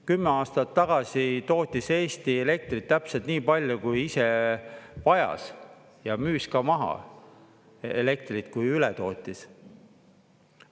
10 aastat tagasi tootis Eesti elektrit täpselt nii palju, kui ise vajas, ja müüs ka maha elektrit, kui üle tootis.